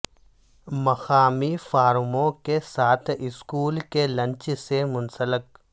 مقامی فارموں کے ساتھ اسکول کے لنچ سے منسلک